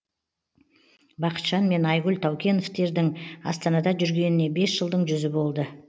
бақытжан мен айгүл таукеновтердің астанада жүргеніне бес жылдың жүзі болды